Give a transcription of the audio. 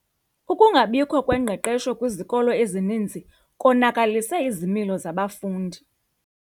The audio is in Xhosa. Ukungabikho kwengqeqesho kwizikolo ezininzi konakalise izimilo zabafundi.